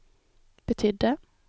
betydde